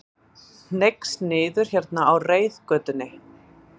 Hneigst niður hérna á reiðgötunni.